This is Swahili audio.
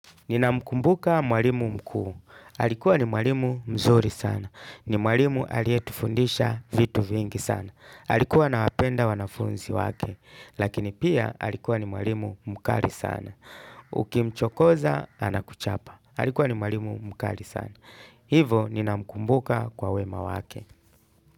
Ninamkumbuka mwalimu mkuu. Alikuwa ni mwalimu mzuri sana. Ni mwalimu aliyetufundisha vitu vingi sana. Alikuwa anawapenda wanafunzi wake. Lakini pia alikuwa ni mwalimu mukali sana. Ukimchokoza anakuchapa. Alikuwa ni mwalimu mukali sana. Hivo ninamkumbuka kwa wema wake.